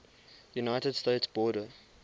united states border